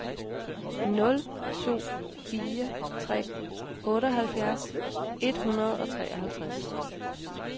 nul to fire tre otteoghalvfjerds et hundrede og treoghalvtreds